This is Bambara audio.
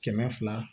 Kɛmɛ fila